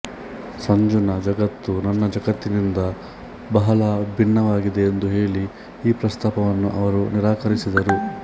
ಸಂಜುನ ಜಗತ್ತು ನನ್ನ ಜಗತ್ತಿನಿಂದ ಬಹಳ ಭಿನ್ನವಾಗಿದೆ ಎಂದು ಹೇಳಿ ಈ ಪ್ರಸ್ತಾಪವನ್ನು ಅವರು ನಿರಾಕರಿಸಿದರು